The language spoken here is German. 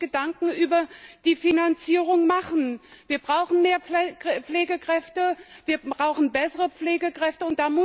Man muss sich Gedanken über die Finanzierung machen. Wir brauchen mehr Pflegekräfte, wir brauchen bessere Pflegekräfte.